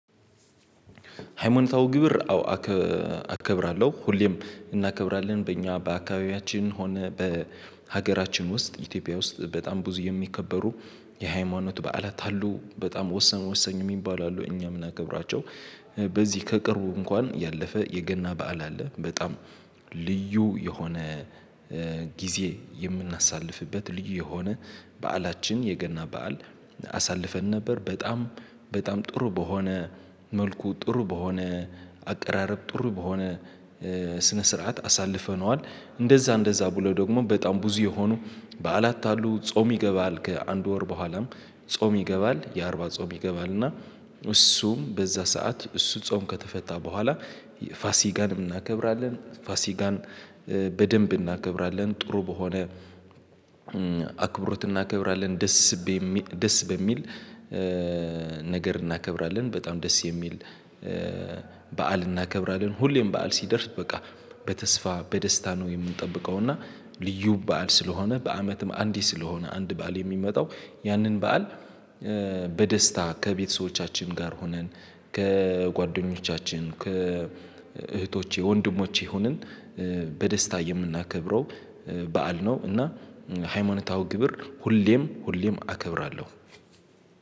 ሃይማኖታዊ ክብር አዎ አከ አከብራለሁ ሁሌም እናከብራለን በእኛ በአካባቢያችን ሆነ በሀገራችን ውስጥ ኢትዮጵያ ውስጥ በጣም ብዙ የሚከበሩ የሃይማኖት በዓላት አሉ በጣም ወሰኑ ወሳኝ የሚባሉ አሉ እኛ የምና ከብራቸው። በዚህ ከቅርቡ እንኳን ያለፈ የገና በዓል አለ። በጣም ልዩ የሆነ ጊዜ የምናሳልፍበት ልዩ የሆነ በዓላችን የገና በዓል አሳልፈን ነበር በጣም በጣም ጥሩ በሆነ መልኩ ጥሩ በሆነ አቀራረብ ጥሩ በሆነ ስነ ስርዓት አሳልፈነዋል። እንደዛ እንደዛ ብሎ ደግሞ በጣም ብዙ የሆኑ በዓላት አሉ። ጾም ይገባል ከአንድ ወር በኋላም ጾም ይገባል የአርባ ጾም ይገባል እና እሱም በዛ ሰዓት እሱ ጾም ከተፈታ በኋላ ፋሲካን እናከብራለን ፋሲካን በደንብ እናከብራለን ጥሩ በሆነ አክብሮት እናከብራለን። ደስ ደስ በሚል ነገር እናከብራለን በጣም ደስ የሚል በዓል እናከብራለን። ሁሌም በዓል ሲደርስ በቃ በተስፋ በደስታ ነው የምንጠብቀው። እና ልዩ በዓል ስለሆነ በአመትም አንዴ ስለሆነ አንድ በዓል የሚመጣው ያንን በዓል በደስታ ከቤተሰቦቻችን ጋር ሆነን ከጓደኞቻችን ከእህቶቼ ወንድሞቼ ሆነን በደስታ የምናከብረው በዓል ነው። እና ሃይማኖታዊ ክብር ሁሌም ሁሌም አከብራለሁ።